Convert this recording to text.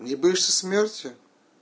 не боишься смерти